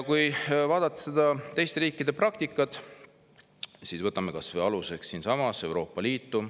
Vaatame teiste riikide praktikat, võtame aluseks kas või Euroopa Liidu.